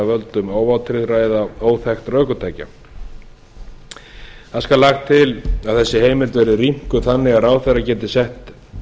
völdum óvátryggðra eða óþekktra ökutækja það skal lagt til að þessi heimild verði rýmkuð þannig að ráðherra geti sett